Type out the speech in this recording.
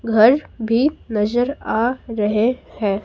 घर भी नजर आ रहे हैं।